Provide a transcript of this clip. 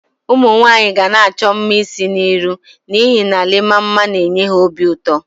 Umunwanyi ga-na acho mma isi na iru n'ihe na Iima mma na-enye ha obi uto.